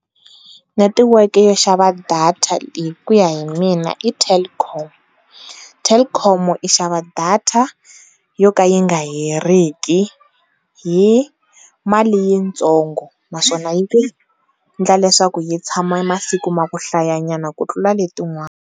Netiweke yo xava data hikuya hi mina i Telkom. Telkom i xava data yo ka yi nga heriki hi mali yitsongo naswona yi ku endla leswaku yi tshama masiku ma ku hlaya nyana ku tlula letin'wana.